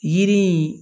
Yiri in